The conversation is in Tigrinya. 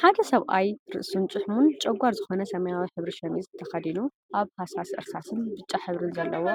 ሓደ ሰብአይ ርእሱን ጭሕሙን ጨጓር ዝኾነ ሰማያዊ ሕብሪ ሸሚዝ ተከዱኑ አብ ሃሳስ እርሳስን ብጫ ሕብሪን ዘለዎ